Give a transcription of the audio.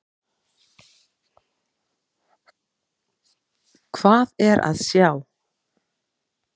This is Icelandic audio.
Hvað er að sjá?